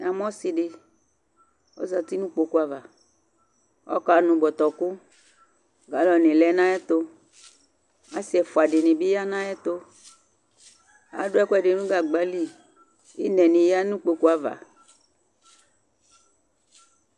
Namʋ ɔsɩ dɩ, ɔzati nʋ kpoku ava, ɔkanʋ bɔtɔkʋ Galɔnɩ lɛ nʋ ayɛtʋ Asɩ ɛfʋa dɩnɩ bɩ ya nʋ ayɛtʋ Adʋ ɛkʋɛdɩ nʋ gagba li Ɩnɛnɩ yǝ nʋ kpoku ava